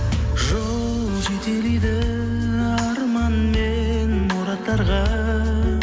жол жетелейді арман мен мұраттарға